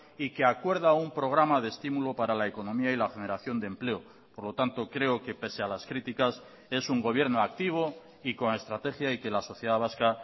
y que acuerda un programa de estímulo para la economía y la generación de empleo por lo tanto creo que pese a las críticas es un gobierno activo y con estrategia y que la sociedad vasca